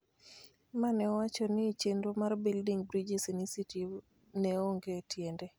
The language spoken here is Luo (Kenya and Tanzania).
ma ne owacho ni chenro mar Building Bridges Initiative ne onge tiende,